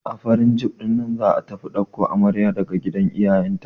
A farin jif ɗinnan za'a tafi ɗauko amarya daga gidan iyayen ta.